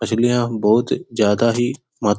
मछलियाँ बहुत ज्यादा ही मात --